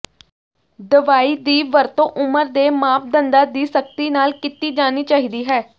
ਦਵਾਈ ਦੀ ਵਰਤੋਂ ਉਮਰ ਦੇ ਮਾਪਦੰਡਾਂ ਦੀ ਸਖਤੀ ਨਾਲ ਕੀਤੀ ਜਾਣੀ ਚਾਹੀਦੀ ਹੈ